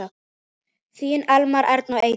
Þín Elmar, Erna og Eydís.